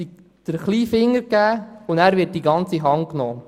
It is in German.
Man gibt den kleinen Finger, und dann wird einem die ganze Hand genommen.